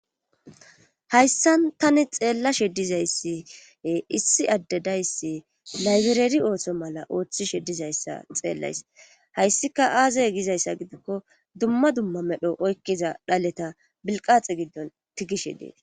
Hayssan tani xeellashe dizayssi issi addedayssi laybireri ooto mala ooththishe dizayssa xeellays hayssika aazey gizayssa gidikko dumma dumma medho oykkiza dhaleta bilqaxe giddon tigishe dees.